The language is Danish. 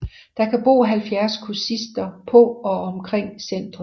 Der kan bo 70 kursister på og omkring centret